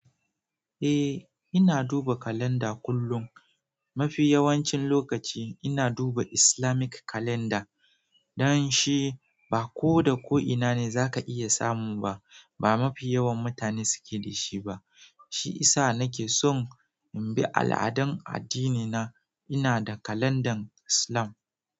Eh, ina duba kalanda kullum. Mafi yawancin lokaci ina duba Islamic kalanda. Dan shi ba ko da ko'ina ne za ka iya samu ba. Ba mafi yawan mutane suke da shi ba. Shi isa nake son in bi al'adan addinina. Ina da kalandan Islam.